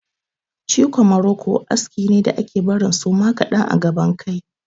Ciko muroko aski ne da ake barin suma kaɗan a gaban kai.